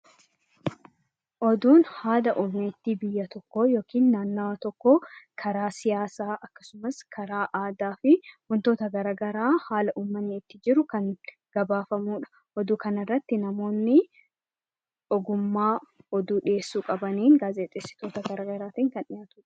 Oduun haala turtii biyya yookiin naannoo tokkoo karaa siyaasaa akkasumas karaa siyaasaa fi haala garaagaraa haala uummanni itti jiru kan gabaafamudha. Oduu kanarratti namoonni ogummaa oduu dhiyeessuu qabaniin gaazexeessitoota garaagaraatiin kan dhiyaatudha.